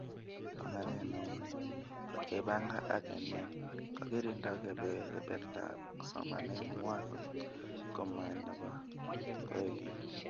Banganet neuni, ngot kebanga ak kenem, kokirindo kabetetab somanet ngway ngot komae nebo koikeny